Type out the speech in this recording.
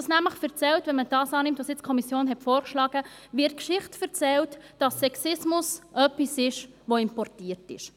Mit dem, was die Kommission vorgeschlagen hat, wird die Geschichte erzählt, dass Sexismus etwas ist, das importiert ist.